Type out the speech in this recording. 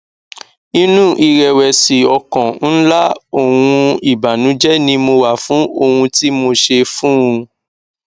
inú ìrẹwẹsì ọkàn ńlá òhun ìbànújẹ ni mo wà fún ohun tí mo ṣe fún un